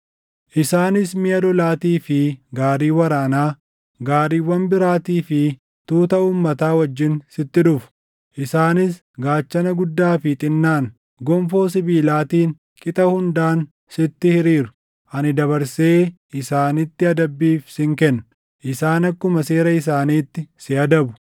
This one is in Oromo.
Isaanis miʼa lolaatii fi gaarii waraanaa, gaariiwwan biraatii fi tuuta uummataa wajjin sitti dhufu; isaanis gaachana guddaa fi xinnaan, gonfoo sibiilaatiin qixa hundaan sitti hiriiru; ani dabarsee isaanitti adabbiif sin kenna; isaan akkuma seera isaaniitti si adabu.